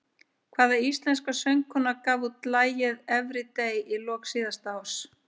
Hvaða íslenska söngkona gaf út lagið Everyday í lok síðasta árs?